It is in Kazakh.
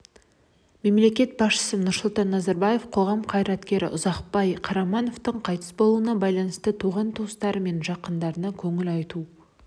мемлекет басшысы нұрсұлтан назарбаев қоғам қайраткері ұзақбай қарамановтың қайтыс болуына байланысты туған-туысқандары мен жақындарына көңіл айту